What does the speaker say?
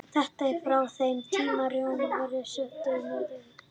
Þetta er frá þeim tíma er Rómverjar sóttu norður á bóginn í ríki Germana.